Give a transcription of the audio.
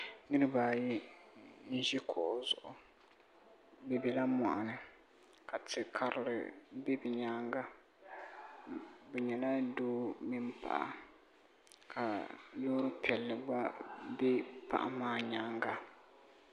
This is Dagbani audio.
niriba ayi n-ʒi kuɣu zuɣu bɛ bela mɔɣuni ka ti' karili be bɛ nyaaŋa bɛ nyɛla doo mini paɣa ka loori piɛlli gba be paɣa maa nyaaŋa